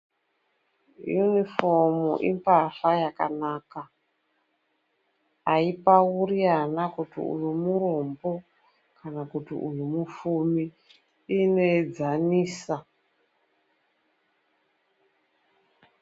Nyufomu ipahla yakanaka, aipauri ana kuti uyu murombo kana kuti uyu mufumi, inoedzanisa.